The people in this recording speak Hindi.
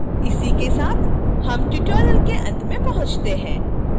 इसी के साथ हम tutorial के अंत में पहुंचते हैं